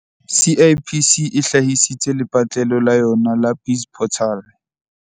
CIPC e hlahisitse lepatlelo la yona la BizPortal